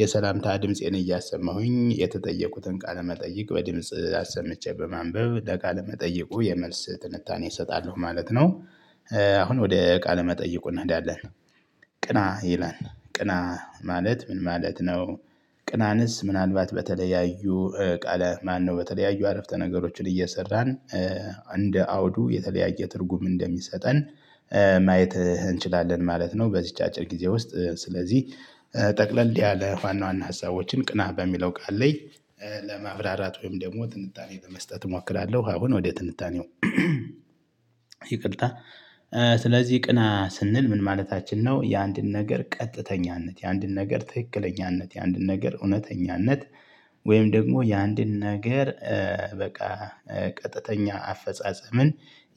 የሰላምታ ድምፄን እያሰማሁኝ የተጠየቁትን ቃለመጠይቅ በድምጽ አሰምቼ በማንበብ ለቃለ መጠይቁ የመልስ ትንታኔ እሰጣለሁ ማለት ነው። አሁን ወደ ቃለ መጠየቁ እንሄዳለን። ቅና ይላል ቅና ማለት ምን ማለት ነው? ቅናንስ ምናልባት በተለያዩ ቃለ ማነው በተለያዩ አረፍተ ነገሮችን እየሰራን እንደ አውዱ የተለያየ ትርጉም እንደሚሰጠን። ማየት እንችላለን ማለት ነው። በዚህች አጭር ጊዜ ውስጥ ስለዚህ ጠቅለል ያለ ዋና ዋና ሀሳቦችን ቅና በሚለው ቃል ላይ። ለማብራራት ወይም ደግሞ ትንታኔ በመስጠት እሞክራለሁ። አሁን ወዴት ትንታኔው? ይቅርታ ስለዚህ ቅና ስንል ምን ማለታችን ነው የአንድን ነገር ቀጥተኛነት የአንድን ነገር ትክክለኛነት የአንድን ነገር እውነተኛነት። ወይም ደግሞ የአንድን ነገር በቃ ቀጥተኛ አፈጻጸምን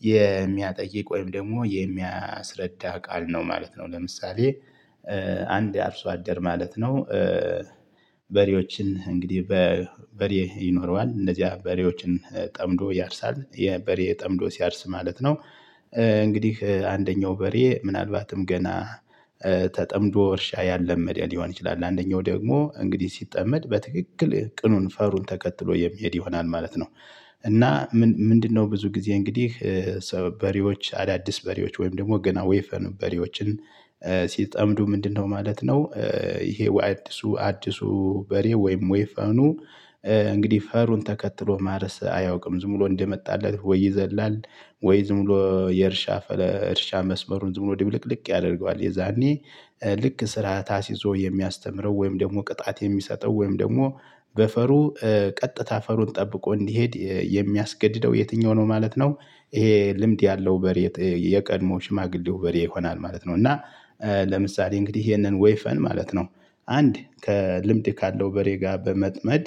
የሚያጠይቅ ወይም ደግሞ የሚያስረዳ ቃል ነው ማለት ነው። ለምሳሌ አንድ አርሶ አደር ማለት ነው። በሬዎችን እንግዲህ በበሬ ይኖረዋል እንደዚያ በሬዎችን ጠምዶ ያርሳል የበሬ ጠምዶ ሲያርስ ማለት ነው። እንግዲህ አንደኛው በሬ ምናልባትም ገና ተጠምዶ እርሻ ያላመደ ሊሆን ይችላል። አንደኛው ደግሞ እንግዲህ ሲጠመድ በትክክል ቅኑን ፈሩን ተከትሎ የሚሄድ ይሆናል ማለት ነው። እና ምንድነው ብዙ ጊዜ እንግዲህ በሬዎች አዳዲስ በሬዎች ወይም ደግሞ ገና ወይፈን በሬዎችን ሲጠምዱ ምንድነው ማለት ነው? ይሄ ወደ አዲሱ አዲሱ በሬ ወይም ወይፈኑ እንግዲህ ፈሩን ተከትሎ ማረስ አያውቅም ዝም ብሎ እንደመጣለት ወይ ይዘላል? ወይ ዝም ብሎ የእርሻ እርሻ መስመሩን ዝም ብሎ ያደርገዋል። የዛኔ ልክ ስራት አስይዞ የሚያስተምረው ወይም ደግሞ ቅጣት የሚሰጠው ወይም ደግሞ በፈሩ ቀጥታ ፈሩን ጠብቆ እንዲሄድ የሚያስገድደው የትኛው ነው ማለት ነው? ይሄ ልምድ ያለው በሬ የቀድሞ ሽማግሌው በሬ ይሆናል ማለት ነው። እና ለምሳሌ እንግዲህ ይሄንን ወይፈን ማለት ነው። አንድ ከልምድ ካለው በሬ ጋር በመጥመድ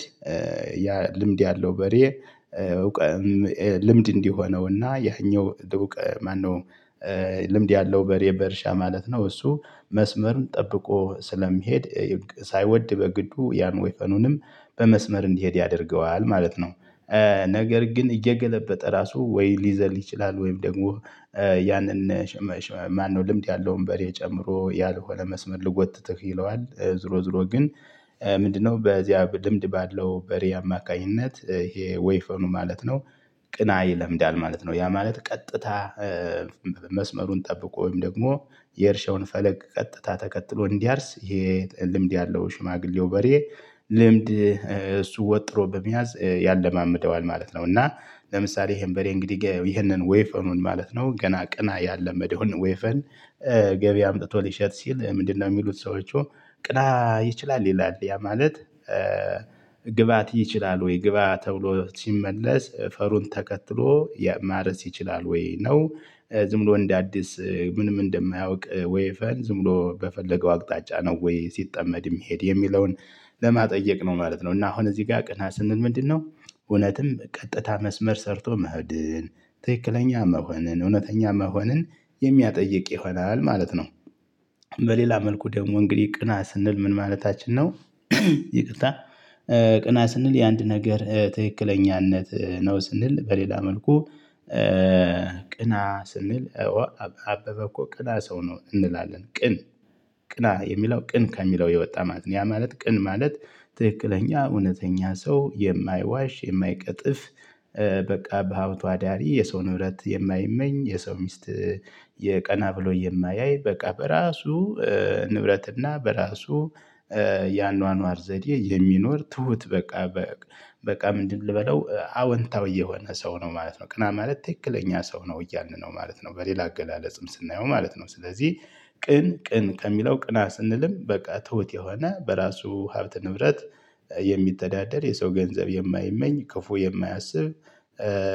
ያ ልምድ ያለው በሬ እውቀት። ልምድ እንዲሆነውና ያኛው እውቀት ማነው? ልምድ ያለው በሬ በእርሻ ማለት ነው እሱ መስመርም ጠብቆ ስለሚሄድ። ሳይወድ በግዱ ያን ወይፈኑንም በመስመር እንዲሄድ ያደርገዋል ማለት ነው። ነገር ግን እየገለበጠ ራሱ ወይ ሊዘል ይችላል ወይም ደግሞ ያንን ማነው ልምድ ያለውን በሬ ጨምሮ ያልሆነ መስመር ልጎትተህ ይለዋል ዝሮ ዝሮ ግን ምንድነው በዚያ ልምድ ባለው በሬ አማካኝነት ይሄ ወይፈኑ ማለት ነው? ቅና ይለምዳል ማለት ነው። ያ ማለት ቀጥታ። መስመሩን ጠብቆ ወይም ደግሞ የእርሻውን ፈለግ ቀጥታ ተከትሎ እንዲያርስ ይሄ ልምድ ያለው ሽማግሌው በሬ። ልምድ እሱ ወጥሮ በመያዝ ያለማምደዋል ማለት ነው። እና ለምሳሌ ይሄን በሬ እንግዲህ ይሄንን ወይፈኑን ማለት ነው ገና ቅና ያላመደውን ወይፈን። ገቢ አምጥቶ ሊሸጥ ሲል ምንድነው የሚሉት ሰዎች? ቅና ይችላል ይላል ያ ማለት። ግብአት ይችላል ወይ ግብአ ተብሎ ሲመለስ ፈሩን ተከትሎ ማረስ ይችላል ወይ ነው? ዝምብሎ እንደ አዲስ ምንም እንደማያውቅ ወይፈን ዝም ብሎ በፈለገው አቅጣጫ ነው ወይ ሲጠመድ የሚሄድ የሚለውን ለማጥየቅ ነው ማለት ነው። እና አሁን እዚህ ጋር ቅና ስንል ምንድነው? እውነትም ቀጥታ መስመር ሰርቶ መሄድን ትክክለኛ መሆንን እውነተኛ መሆንን የሚያጠይቅ ይሆናል ማለት ነው። በሌላ መልኩ ደግሞ እንግዲህ ቅና ስንል ምን ማለታችን ነው? ይቅርታ ቅና ስንል የአንድ ነገር ትክክለኛነት ነው ስንል በሌላ መልኩ። ቅና ስንል። አበበ እኮ ቅና ሰው ነው እንላለን ቅን። ቅና የሚለው ቅን ከሚለው የወጣ ማለት ነው ያ ማለት ቅን ማለት ትክክለኛ እውነተኛ ሰው የማይዋሽ የማይቀጥፍ። በቃ በሀብቱ አዳሪ የሰው ንብረት የማይመኝ የሰው ሚስት። የቀና ብሎ የማያይ በቃ በራሱ። ንብረትና በራሱ ያኗኗር ዘዴ የሚኖር ትሁት በቃ። በቃ ምንድን ልበለው አወንታው የሆነ ሰው ነው ማለት ነው። ቅና ማለት ትክክለኛ ሰው ነው እያልን ነው ማለት ነው። በሌላ አገላለጽም ስናየው ማለት ነው። ስለዚህ ቅን ቅን ከሚለው ቅና ስንልም በቃ ትሁት የሆነ በራሱ ሀብት ንብረት። የሰው ገንዘብ የማይመኝ ክፉ የማያስብ።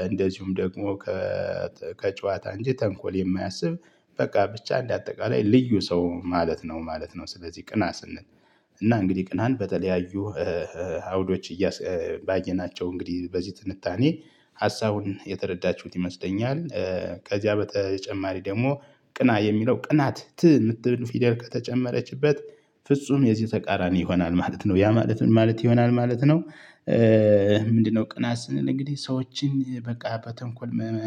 እንደዚሁም ደግሞ ከጨዋታ እንጂ ተንኮል የማያስብ። በቃ ብቻ እንደ አጠቃላይ ልዩ ሰው ማለት ነው ማለት ነው። ስለዚህ ቅና ስንል እና እንግዲህ ቅናን በተለያዩ ሀውዶች እያስ ባየናቸው እንግዲህ በዚህ ትንታኔ ሀሳቡን የተረዳችሁት ይመስለኛል። ከዚያ በተጨማሪ ደግሞ ቅና የሚለው ቅናት ት ይምትል ፊደል ከተጨመረችበት። ፍጹም የዚህ ተቃራኒ ይሆናል ማለት ነው ያ ማለት ማለት ይሆናል ማለት ነው። ምንድነው ቅና ስንል እንግዲህ ሰዎችን በቃ በተንኮል